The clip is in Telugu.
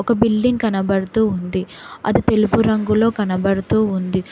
ఒక బిల్డింగ్ కనబడుతూ ఉంది అది తెలుపు రంగులో కనబడుతూ ఉంది.